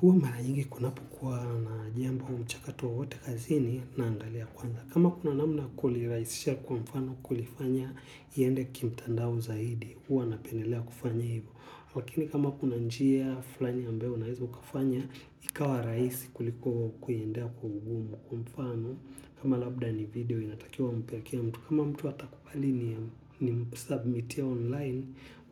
Huwa mara ingi kunapu kwa na jiemba wa mchakato wowote kazini naangalia kwanza. Kama kuna namna ya kuliraisha kwa mfano kulifanya liende kimtandao zaidi. Hwa napendelea kufanya hivyo. Lakini kama kuna njia fulani ambayo na hizu kafanya, ikawa raisi kuliko kuendea kwa ugumu kwa mfano. Kama labda ni video inatakiwa upe kila mtu. Kama mtu watakupali ni msubmitia online,